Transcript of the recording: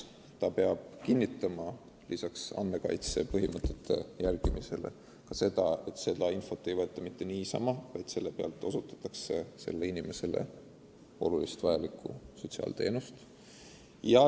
Sotsiaaltöötaja peab lisaks andmekaitse põhimõtete järgimisele ka kinnitama, et ta ei otsi teatud infot mitte niisama, vaid eesmärgiga osutada noorele inimesele väga vajalikku sotsiaalteenust.